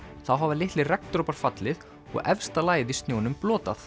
þá hafa litlir regndropar fallið og efsta lagið í snjónum